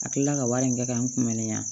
A kilala ka wari in kɛ k'an kunbɛnni ya